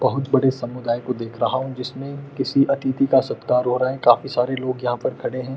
बहोत बड़े समुदाय को देख रहा हूँ जिसमें किसी अतिथि का सत्कार हो रहा है। काफी सारे लोग यहाँ पर खड़े हैं।